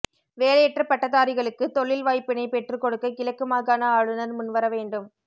வேலையற்ற பட்டதாரிகளுக்கு தொழில் வாய்ப்பினைப் பெற்றுக் கொடுக்க கிழக்கு மாகாண ஆளுனர் முன்வர வேண்டும்